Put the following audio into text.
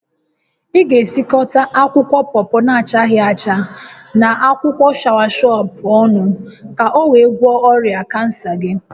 Ị ga-esikọta akwụkwọ pọpọ na-achaghị acha, na akwụkwọ shọawashọp ọnụ ka o wee gwọọ ọrịa kansa gị